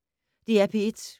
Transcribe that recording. DR P1